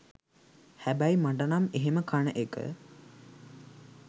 හැබැයි මටනම් එහෙම කන එක